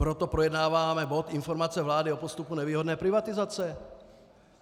Proto projednáváme bod informace vlády o postupu nevýhodné privatizace.